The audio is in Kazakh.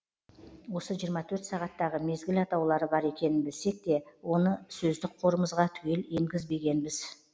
осы жиырма төрт сағаттағы мезгіл атаулары бар екенін білсек те оны сөздік қорымызға түгел енгізбегенбіз